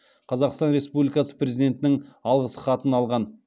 қазақстан республикасы президентінің алғыс хатын алған